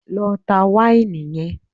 Lọ ta wáìnì yẹn!